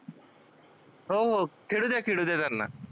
हो हो त्यांना